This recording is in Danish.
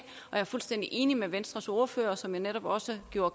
er fuldstændig enig med venstres ordfører som jo netop også gjorde